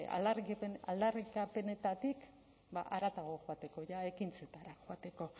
aldarrikapenetatik haratago joateko ekintzetara joateko